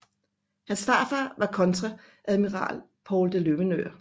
Hans farfar var kontreadmiral Poul de Løvenørn